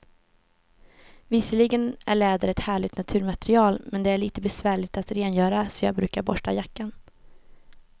Visserligen är läder ett härligt naturmaterial, men det är lite besvärligt att rengöra, så jag brukar borsta jackan.